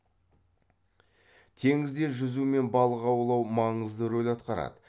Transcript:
теңізде жүзу мен балық аулау маңызды рөл атқарады